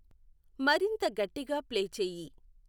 మరింత గట్టిగా ప్లే చేయి